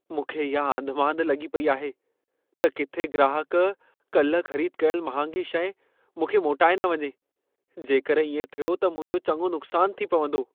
मूंखे इहा आंधिमांधि लॻी पेई आहे त किथे ग्राहकु कल्ह ख़रीद कयल महांगी शइ मूंखे मोटाए न वञे। जेकर इएं थियो त मुंहिंजो चङो नुक़सानु थी पवंदो।